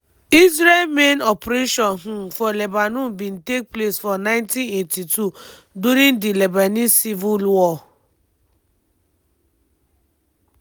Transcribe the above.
israel main operation um for lebanon bin take place for 1982 during di lebanese civil war.